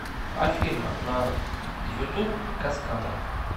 афина на ютуб каскада